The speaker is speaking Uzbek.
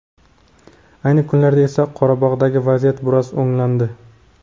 Ayni kunlarda esa Qorabog‘dagi vaziyat biroz o‘nglandi.